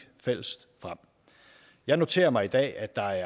frem jeg noterer mig i dag at der